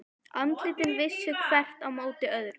Andlitin vissu hvert á móti öðru.